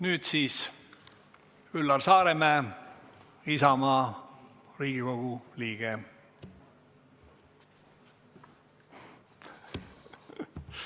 Nüüd palun Üllar Saaremäe Isamaast, Riigikogu liige!